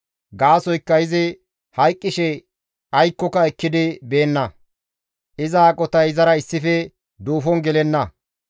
Gaasoykka izi hayqqishe aykkoka ekkidi beenna; iza aqotay izara issife duufon gelenna.